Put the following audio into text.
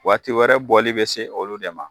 Waati wɛrɛ bɔli bɛ se olu de ma.